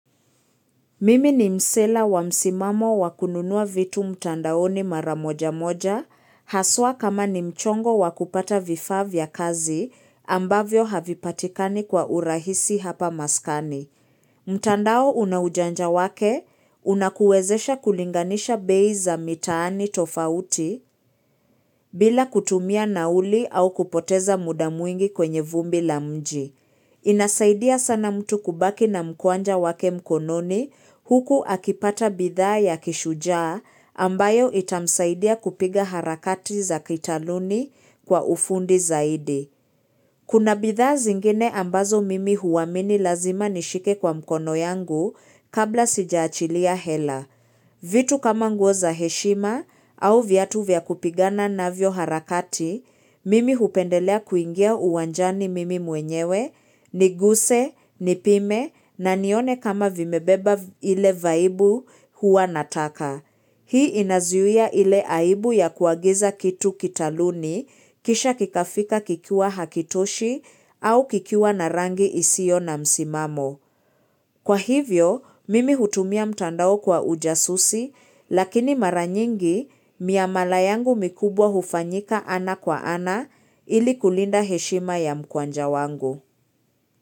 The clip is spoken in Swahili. Mimi ni msela wa msimamo wakununua vitu mtandaoni maramoja moja, haswa kama ni mchongo wakupata vifaa vya kazi ambavyo havipatikani kwa urahisi hapa maskani. Mtandao unaujanja wake, unakuwezesha kulinganisha bei za mitaani tofauti bila kutumia nauli au kupoteza muda mwingi kwenye vumbi la mji. Inasaidia sana mtu kubaki na mkwanja wake mkononi huku akipata bidhaa ya kishujaa ambayo itamsaidia kupiga harakati za kitaluni kwa ufundi zaidi. Kuna bithaa zingine ambazo mimi huwamini lazima nishike kwa mkono yangu kabla sijaachilia hela. Vitu kama ngoza heshima au viatu vya kupigana na vyo harakati, mimi hupendelea kuingia uwanjani mimi mwenyewe, niguse, nipime na nione kama vimebeba ile vaibu huwa nataka. Hii inazuyia ile aibu ya kuagiza kitu kitaluni kisha kikafika kikiwa hakitoshi au kikiwa narangi isio na msimamo. Kwa hivyo, mimi hutumia mtandao kwa ujasusi lakini maranyingi miamala yangu mikubwa hufanyika ana kwa ana ili kulinda heshima ya mkwanja wangu.